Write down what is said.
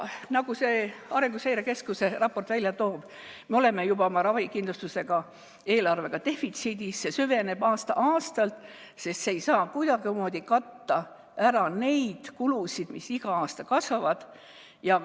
Arenguseire Keskuse raport toob välja, et me oleme juba oma ravikindlustuse eelarvega defitsiidis, see süveneb aasta-aastalt, sest see eelarve ei saa kuidagimoodi katta ära neid kulusid, mis iga aasta kasvavad.